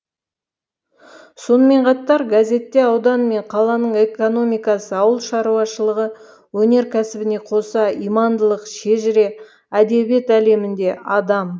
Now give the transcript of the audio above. сонымен қатар газетте аудан мен қаланың экономикасы ауыл шаруашылығы өнеркәсібіне қоса имандылық шежіре әдебиет әлемінде адам